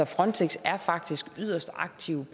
frontex er faktisk yderst aktive